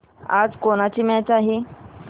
आज कोणाची मॅच आहे